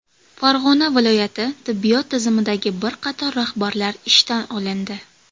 Farg‘ona viloyati tibbiyot tizimidagi bir qator rahbarlar ishdan olindi.